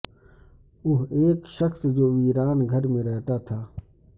وہ ایک شخص جو ویران گھر میں رہتا تھا